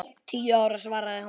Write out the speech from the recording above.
Tíu ára, svaraði hún.